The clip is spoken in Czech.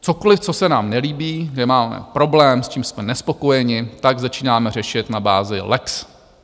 Cokoliv, co se nám nelíbí, kde máme problém, s čím jsme nespokojeni, tak začínáme řešit na bázi lex: